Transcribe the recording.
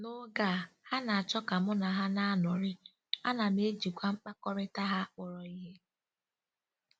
N'oge a, ha na-achọ ka mụ na ha na-anọrị, a nam ejikwa mkpakọrịta ha kpọrọ ihe.